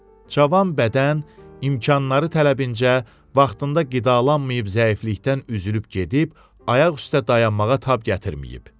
Cavan bədən imkanları tələbincə vaxtında qidalanmayıb zəiflikdən üzülüb gedib, ayaq üstə dayanmağa tab gətirməyib.